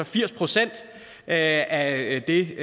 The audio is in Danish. firs procent af det